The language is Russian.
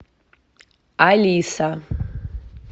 алиса